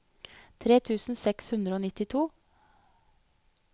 tre tusen seks hundre og nittito